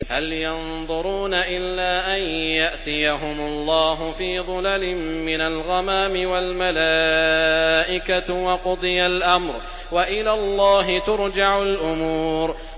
هَلْ يَنظُرُونَ إِلَّا أَن يَأْتِيَهُمُ اللَّهُ فِي ظُلَلٍ مِّنَ الْغَمَامِ وَالْمَلَائِكَةُ وَقُضِيَ الْأَمْرُ ۚ وَإِلَى اللَّهِ تُرْجَعُ الْأُمُورُ